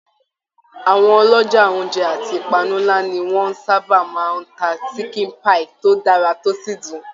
Àwọn ọlọjà ounjẹ àti ipanu nlá ni wọn sábà máa n tá sikin pai tó dára tó sì dùn.